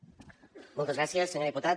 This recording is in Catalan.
moltes gràcies senyor diputat